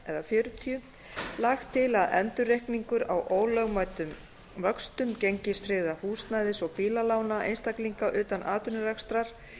xl eða fjörutíu lagt til að endurreikningur á ólögmætum vöxtum gengistryggðra húsnæðis og bílalána einstaklinga utan atvinnurekstrar